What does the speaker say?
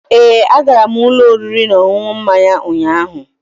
Ee, agara m ụlọ oriri na ọṅụṅụ mmanya ụnyaahụ.